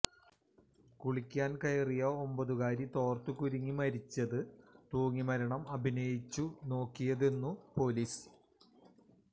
കുളിക്കാൻ കയറിയ ഒമ്പതുകാരി തോർത്തു കുരുങ്ങി മരിച്ചതു തൂങ്ങിമരണം അഭിനയിച്ചു നോക്കിയതെന്നു പൊലീസ്